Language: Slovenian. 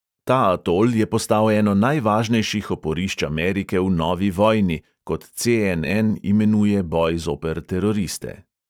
Ta atol je postal eno najvažnejših oporišč amerike v novi vojni, kot ce|en|en imenuje boj zoper teroriste.